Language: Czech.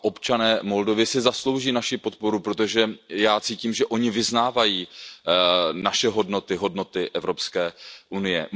A občané Moldavska se zaslouží naši podporu, protože já cítím, že oni vyznávají naše hodnoty, hodnoty Evropské unie.